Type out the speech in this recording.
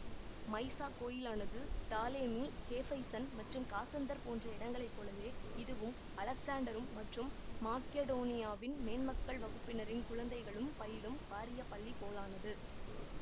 Mieza கோயிலானது Ptolemy Hephaestion மற்றும் Cassander போன்ற இடங்களை போலவே இதுவும் அலெக்சாண்டரும் மற்றும் மாக்கெடோனியானின் மேன்மக்கள் வகுப்பினரின் குழந்தைகளும் பயிலும் வாரிய பள்ளி போலானது